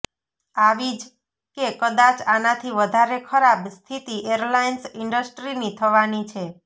આવી જ કે કદાચ આનાથી વધારે ખરાબ સ્થિતિ એરલાઇન્સ ઇન્ડસ્ટ્રીની થવાની છે